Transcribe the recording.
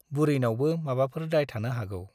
बुरैनावबो माबाफोर दाय थानो हागौ ।